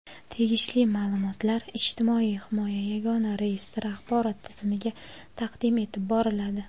tegishli ma’lumotlar "Ijtimoiy himoya yagona reyestri" axborot tizimiga taqdim etib boriladi.